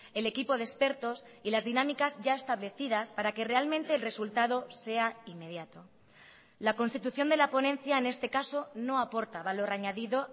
el equipo de expertos y las dinámicas ya establecidas para que realmente el resultado sea inmediato la constitución de la ponencia en este caso no aporta valor añadido